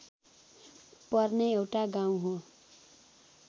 पर्ने एउटा गाउँ हो